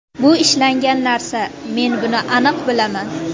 Bu ishlangan narsa, men buni aniq bilaman.